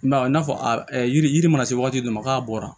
I m'a ye i n'a fɔ a yiri mana se waati dɔ ma k'a bɔra